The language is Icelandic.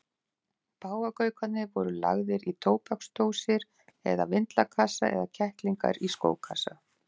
Páfagaukarnir voru lagðir í tóbaksdósir eða vindlakassa en kettlingar í skókassa.